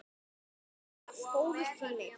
Það var það góður tími.